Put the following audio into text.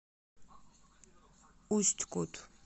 усть кут